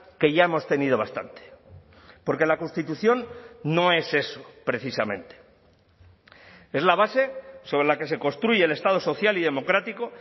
que ya hemos tenido bastante porque la constitución no es eso precisamente es la base sobre la que se construye el estado social y democrático